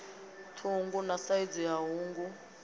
ṱhungu na saizi ya hungu